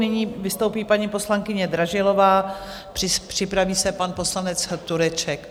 Nyní vystoupí paní poslankyně Dražilová, připraví se pan poslanec Tureček.